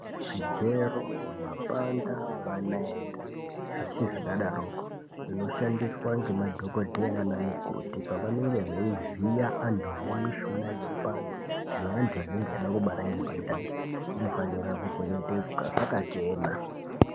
Zvigero ,mapanga, manaiti, zveshe zvakadaroko, zvinoshandiswa ngemadhokodheya naanamukoti pavanenge veivhiya antu ane mishuna inopanda, neantu anenge eida kubara ngepandani, zvinofana kuchengetedzwa zvakachena.